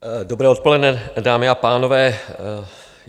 Dobré odpoledne, dámy a pánové.